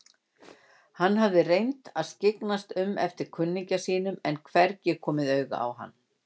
Hann hafði reynt að skyggnast um eftir kunningja sínum en hvergi komið auga á hann.